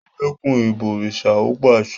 Ẹ dẹ́kun “ ìbọ̀rìsà ”! ó pàsẹ.